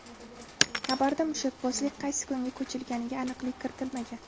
Xabarda mushakbozlik qaysi kunga ko‘chigilganiga aniqlik kiritilmagan.